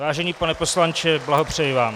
Vážený pane poslanče, blahopřeji vám.